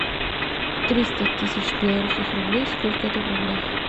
триста тысяч белорусских рублей сколько это в рублях